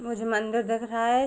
कुछ मंदिर दिख रहा है।